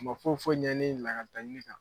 o ma foyifoyi ɲɛ ni ɲagatali tɛ.